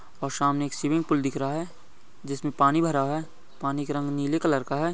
और सामने swimming pool दिख रहा है जिसमे पानी भरा हुआ है पानी के रंग नीले कलर का है।